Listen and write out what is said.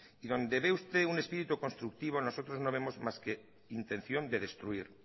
y donde ve usted un espíritu constructivo nosotros no vemos más que intención de destruir